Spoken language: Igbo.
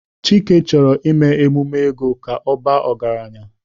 Chike choro ime emume ego ka o baa ọgaranya.